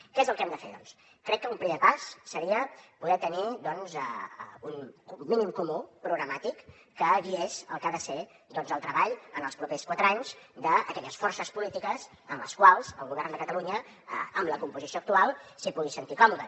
què és el que hem de fer doncs crec que un primer pas seria poder tenir doncs un mínim comú programàtic que guiés el que ha de ser el treball en els propers quatre anys d’aquelles forces polítiques en les quals el govern de catalunya amb la composició actual s’hi pugui sentir còmode